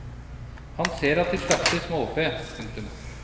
Han ser at de slakter småfe. punktum